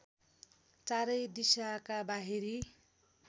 चारै दिशाका बाहिरी